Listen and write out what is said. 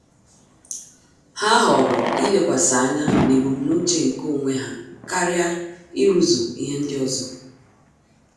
Há họ̀ọ̀rọ̀ ílékwàsí ányá n’ébúmnúché nke onwe ha kàrị́a írúzu ihe ndị ọzọ.